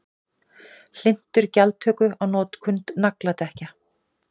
Hlynntur gjaldtöku á notkun nagladekkja